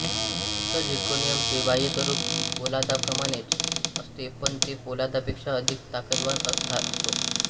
शुद्ध झिर्कोनियमचे बाह्यस्वरूप पोलादाप्रमाणेच असते पण ते पोलादापेक्षा अधिक ताकदवान असते